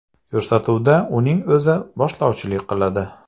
Ko‘rsatuvda uning o‘zi boshlovchilik qiladi.